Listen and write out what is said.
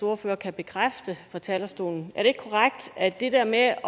ordfører kan bekræfte fra talerstolen at det der med at